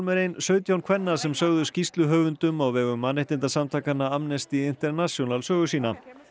er ein sautján kvenna sem sögðu skýrsluhöfundum á vegum mannréttindasamtakanna Amnesty International sögu sína